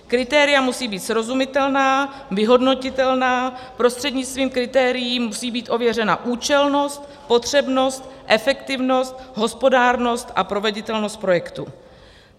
Kritéria musí být srozumitelná, vyhodnotitelná, prostřednictvím kritérií musí být ověřena účelnost, potřebnost, efektivnost, hospodárnost a proveditelnost projektu.